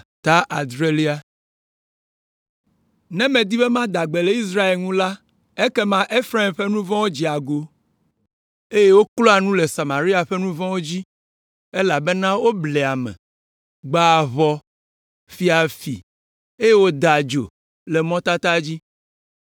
Ne medi be mada gbe le Israel ŋu la, ekema Efraim ƒe nu vɔ̃wo dzea go, eye wokloa nu le Samaria ƒe nu vɔ̃wo dzi, elabena woblea ame, gbãa ʋɔ, fia fi, eye wodaa adzo le mɔtata dzi.